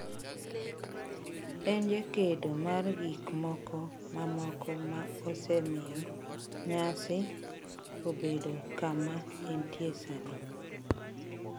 En jakedo mar gikmoko mamoko ma osemiyo nyasi obedo kama entie sani.